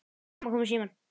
Mamma kom í símann.